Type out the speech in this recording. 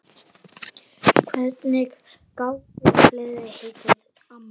Hvernig gátu fleiri heitið amma?